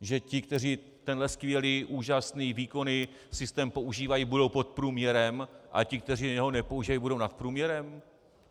Že ti, kteří tenhle skvělý, úžasný, výkonný systém používají, budou pod průměrem, a ti, kteří ho nepoužívají, budou nad průměrem?